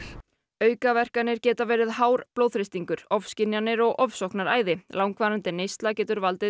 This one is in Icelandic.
aukaverkanir geta verið hár blóðþrýstingur ofskynjanir og ofsóknaræði langvarandi neysla getur valdið